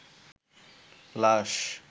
লাশ